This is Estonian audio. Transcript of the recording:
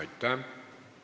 Aitäh!